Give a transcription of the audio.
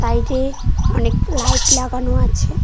সাইডে অনেক লাইট লাগানো আছে।